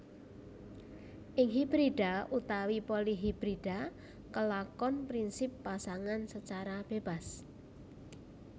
Ing hibrida utawi polihibrida kelakon prinsip Pasangan secara bebas